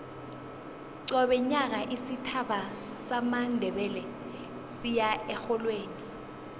qobe nyaka isitjhaba samandebele siya erholweni